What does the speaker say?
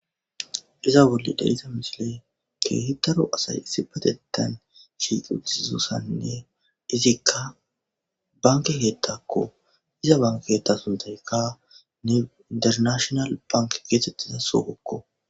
Iza bolle dadisa misile keehitaro asay issi patetan shiiqu isizossanne izikka banke geettakko iza banketa suntaykka ne internashonal bank geetettiza sugokko